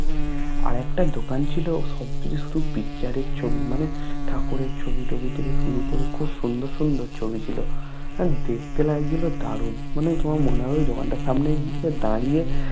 আর একটা দোকান ছিলো সব কিছু শুধু Picture এর ছবি মানে ঠাকুরের ছবি থেকে শুরু করে খুব সুন্দর সুন্দর ছবি ছিলো আর দেখতে লাগছিলো দারুন মানে কি তোমার মনে হবে দোকানটার সামনে গিয়ে দাড়িয়ে